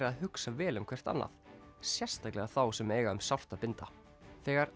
að hugsa vel um hvert annað sérstaklega þá sem eiga um sárt að binda þegar